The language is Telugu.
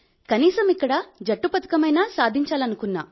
కనీసం ఇక్కడ జట్టు పతకమైనా సాధించాలనుకున్నా